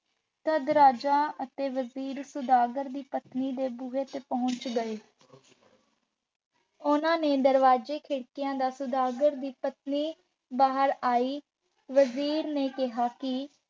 ਤਦ ਰਾਜਾ ਅਤੇ ਵਜ਼ੀਰ ਸੁਦਾਗਰ ਦੀ ਪਤਨੀ ਦੇ ਬੂਹੇ ਤੇ ਪਹੁੰਚ ਗਏ ਉਹਨਾ ਨੇ ਦਰਵਾਜ਼ਾ ਖੜਕਾਇਆ ਤਾਂ ਸੁਦਾਗਰ ਦੀ ਪਤਨੀ ਬਾਹਰ ਆਈ ਵਜ਼ੀਰ ਨੇ ਕਿਹਾ ਕਿ